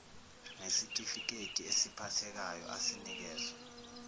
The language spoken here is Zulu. ngesitifiketi esiphathekayo asinikezwa